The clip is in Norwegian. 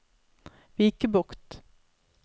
Vikebukt